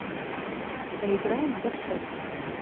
поиграем в горшок